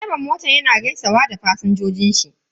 Direban motan yana gaisawa da fasinjojin shi.